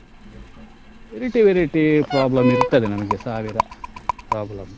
Variety variety problem ಇರ್ತದೆ ನಮ್ಗೆ ಸಾವಿರ problem .